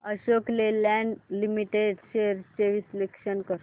Ashok Leyland limited shares चे विश्लेषण कर